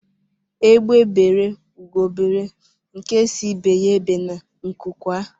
Egbe beru Ugo beru nke si ibe ya ebene nku kwaa